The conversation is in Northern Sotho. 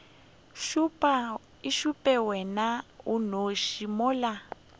šupe wena o nnoši mola